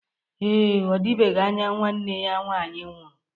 Ee, ọdịbegi anya nwanne ya nwaanyị nwụrụ.